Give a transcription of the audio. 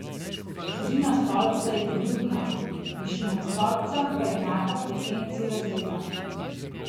Širina stolpca je poljubna, višina stolpca pa je enaka frekvenci razreda.